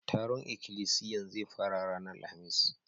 Taron ikilisiyan zai fara ranan Alhamis.